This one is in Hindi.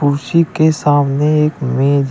कुर्सी के सामने एक मेज--